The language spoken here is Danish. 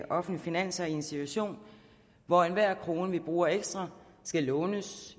offentlige finanser i en situation hvor enhver krone vi bruger ekstra skal lånes